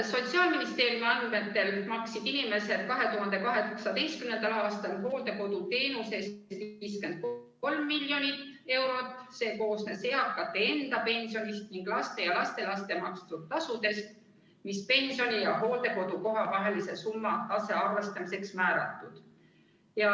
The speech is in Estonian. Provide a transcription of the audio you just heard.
Sotsiaalministeeriumi andmetel maksid inimesed 2018. aastal hooldekoduteenuse eest 53 miljonit eurot, see koosnes eakate enda pensionist ning laste ja lastelaste makstud summadest, mis pensioni ja hooldekodukohatasu tasaarvestamiseks määratud.